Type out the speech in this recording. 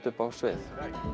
uppi á sviði